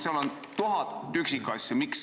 Seal on tuhat üksikasja.